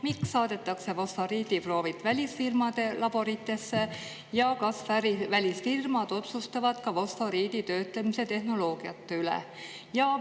Miks saadetakse fosforiidiproovid välisfirmade laboritesse ja kas välisfirmad otsustavad ka fosforiiditöötlemise tehnoloogiate üle?